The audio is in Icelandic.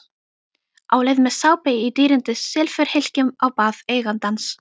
Á leið með sápu í dýrindis silfurhylkjum á bað eigandans.